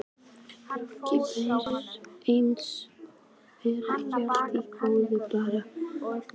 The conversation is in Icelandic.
Logi Bergmann Eiðsson: Er ekki allt í góðu bara Palli?